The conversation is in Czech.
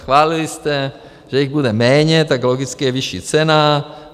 Schválili jste, že jich bude méně, tak logicky je vyšší cena.